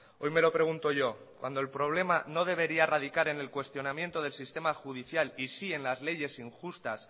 hoy me lo pregunto yo cuando el problema no debería radicar en el cuestionamiento del sistema judicial y sí en las leyes injustas